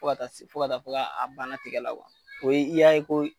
Fo ka fɔ ko a bana tigɛ la ko ye i y'a ye ko